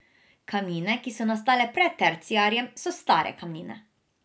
Kamnine, ki so nastale pred terciarjem, so stare kamnine.